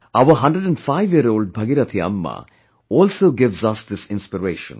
Our 105 year old Bhagirathi Amma, also gives us this inspiration